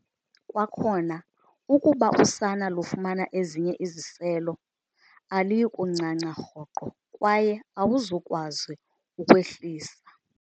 Kwakhona, ukuba usana lufumana ezinye iziselo, aluyi kuncanca rhoqo kwaye awuzukwazi ukwehlisa.